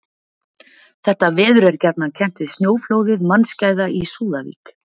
Þetta veður er gjarnan kennt við snjóflóðið mannskæða í Súðavík.